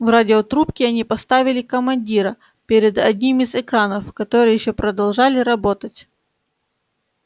в радиотрубке они поставили командира перед одним из экранов которые ещё продолжали работать